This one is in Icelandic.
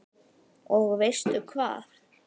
Og veistu hvað?